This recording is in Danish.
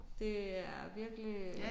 Det er virkelig